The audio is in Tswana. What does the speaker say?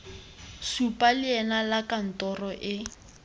supa leina la kantoro e